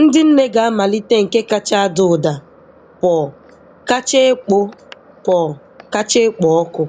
ndị nne ga-amalite nke kacha ada ụda, purr kacha ekpo purr kacha ekpo ọkụ.